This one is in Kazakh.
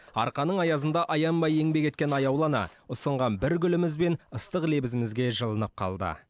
арқаның аязында аянбай еңбек еткен аяулы ана ұсынған бір гүліміз бен ыстық лебізімізге жылынып қалды